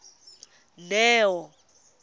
neo